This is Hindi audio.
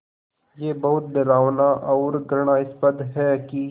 ये बहुत डरावना और घृणास्पद है कि